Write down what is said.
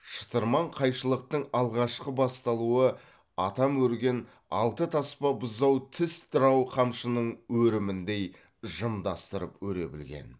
шытырман қайшылықтың алғашқы басталуы атам өрген алты таспа бұзау тіс дырау қамшының өріміндей жымдастырып өре білген